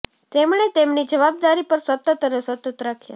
તેમણે તેમની જવાબદારી પર સતત અને સતત રાખ્યા